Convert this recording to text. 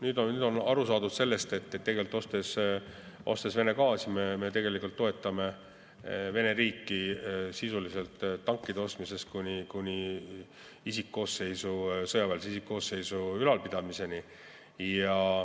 Nüüd on aru saadud, et tegelikult, ostes Vene gaasi, me toetame Vene riiki sisuliselt tankide ostmisest kuni sõjaväe isikkoosseisu ülalpidamiseni.